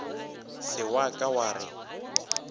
se wa ka wa re